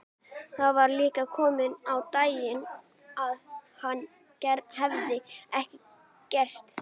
Nú var líka komið á daginn að hann hafði ekki gert það.